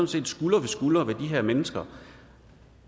set skulder ved skulder med de her mennesker